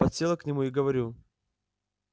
подсела к нему и говорю